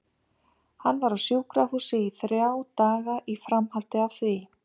Hann var á sjúkrahúsi í þrjá daga í framhaldi af því.